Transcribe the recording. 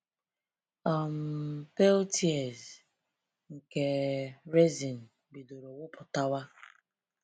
um Pale "tears" nke resin bidoro wụpụtawa.